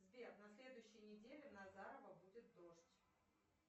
сбер на следующей неделе в назарово будет дождь